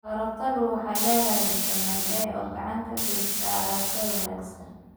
Karootadu waxay leedahay fitamiin A oo gacan ka geysata aragga wanaagsan.